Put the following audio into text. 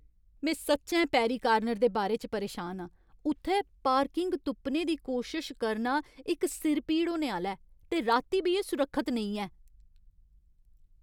में सच्चैं पैरी कार्नर दे बारे च परेशान आं। उत्थै पार्किंग तुप्पने दी कोशश करना इक सिरपीड़ होने आह्‌ला ऐ, ते राती बी एह् सुरक्खत नेईं ऐ।